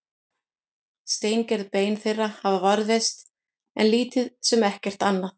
steingerð bein þeirra hafa varðveist en lítið sem ekkert annað